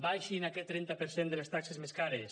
baixin aquest trenta per cent de les taxes més cares